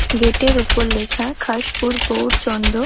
গেটের ওপর লেখা খাসপুর গৌড়চন্দ্র ।